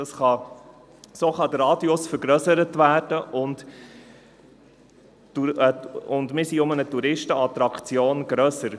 So kann der Radius vergrössert werden, und wir sind um eine Touristenattraktion reicher.